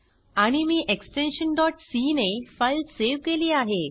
आणि मी extension c ने फाइल सेव केली आहे